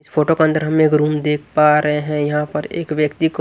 इस फोटो के अंदर हम एक रूम देख पा रहे हैं यहां पर एक व्यक्ति को --